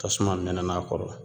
Tasuma mɛnɛn'a kɔrɔ